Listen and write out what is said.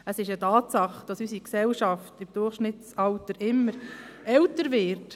Es ist eine Tatsache, dass unsere Gesellschaft im Durchschnittsalter immer älter wird.